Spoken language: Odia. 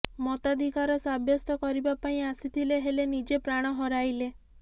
ମତାଧିକାର ସାବ୍ୟସ୍ତ କରିବା ପାଇଁ ଆସିଥିଲେ ହେଲେ ନିଜେ ପ୍ରାଣ ହରାଇଲେ